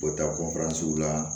U bɛ taa la